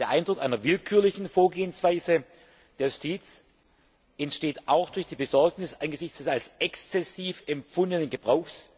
Der Eindruck einer willkürlichen Vorgehensweise der Justiz entsteht auch durch die Besorgnis angesichts des als exzessiv empfundenen Gebrauchs